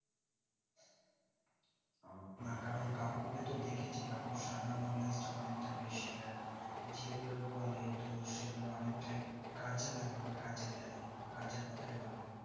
না কারণ কাকুকে তো দেখেছি সাধারণ knowledge টা অনিকটা বেশি আর যেগুলো বলে সেগুলো অনিকটাই কাজে লাগে বা কাজে দেয় কাজের কথাই বলে